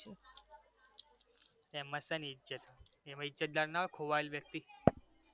એમાં શેની ઈજ્જત? કેમ ઈજ્જતદાર ના હોય ખોવાયેલ વ્યક્તિ